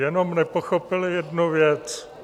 Jenom nepochopili jednu věc.